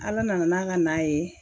Ala nana n'a ka na ye